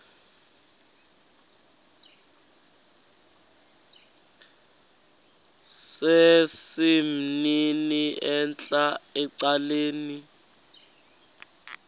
sesimnini entla ecaleni